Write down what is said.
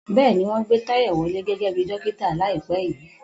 Bẹ́ẹ̀ni, wọ́n gbé Tayo wọlé gẹ́gẹ́ bí dókítà láìpẹ́ yìí.